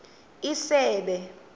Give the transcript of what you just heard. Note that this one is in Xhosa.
isebe